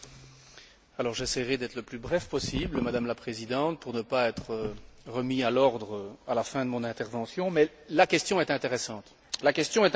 J'essayerai d'être le plus bref possible, Madame la Présidente, pour ne pas être rappelé à l'ordre à la fin de mon intervention, mais la question est intéressante.